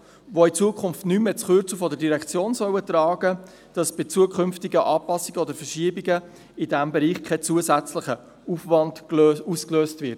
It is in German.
Diese sollen in Zukunft nicht mehr das Kürzel der Direktion tragen, damit bei zukünftigen Anpassungen oder Verschiebungen kein zusätzlicher Aufwand ausgelöst wird.